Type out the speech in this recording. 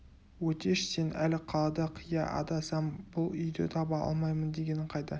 өтеш сен әлі қалада қия адасам бұл үйді таба алмаймын дегенің қайда